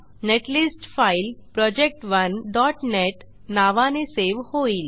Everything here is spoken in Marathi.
नेटलिस्ट फाईल project1नेट नावाने सेव्ह होईल